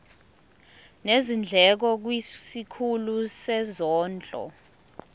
nezindleko kwisikhulu sezondlo